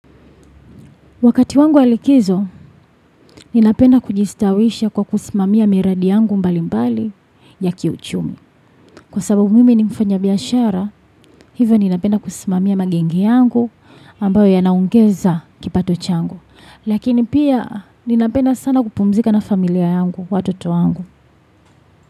Wakati wangu wa likizo, ninapenda kujistawisha kwa kusimamia miradi yangu mbali mbali ya kiuchumi. Kwa sababu mimi ni mfanya biashara, hivo ninapenda kusimamia magenge yangu ambayo ya naongeza kipato changu. Lakini pia ninapenda sana kupumzika na familia yangu, watoto wangu.